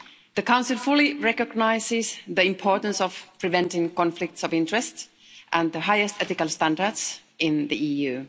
The Council fully recognises the importance of preventing conflicts of interest and the highest ethical standards in the EU.